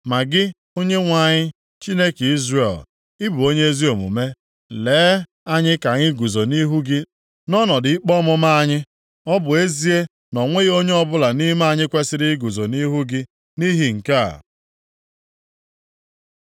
Ma gị, Onyenwe anyị, Chineke Izrel, ị bụ onye ezi omume. Lee anyị ka anyị guzo nʼihu gị nʼọnọdụ ikpe ọmụma anyị, ọ bụ ezie na o nweghị onye ọbụla nʼime anyị kwesiri iguzo nʼihu gị nʼihi nke a.”